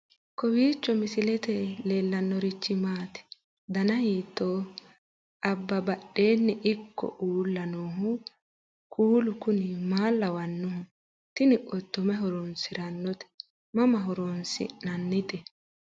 kowiicho misilete leellanorichi maati ? dana hiittooho ?abadhhenni ikko uulla noohu kuulu kuni maa lawannoho? tini qotto mayi horoonsirannote mama horoonsi'nannite